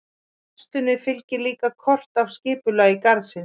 Með færslunni fylgir líka kort af skipulagi garðsins.